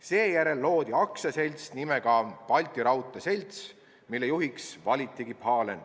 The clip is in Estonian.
Seejärel loodi aktsiaselts nimega Balti Raudtee Selts, mille juhiks valitigi Pahlen.